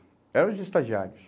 Era os estagiários.